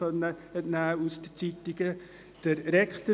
das konnten wir den Zeitungen entnehmen.